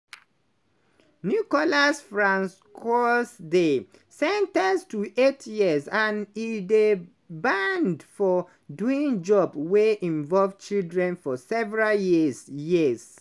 nicolas francoisdey sen ten ced to eight years and e dey banned for doing job wey involve children for several years. years.